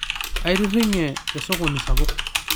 Aitiringe to sokoni sapuk